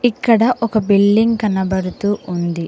ఇక్కడ ఒక బిడ్లింగ్ కనబడుతూ ఉంది.